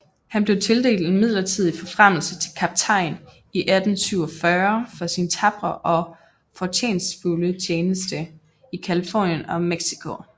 Han blev tildelt en midlertidig forfremmelse til kaptajn i 1847 for sin tapre og fortjenstfulde tjeneste i Californien og Mexico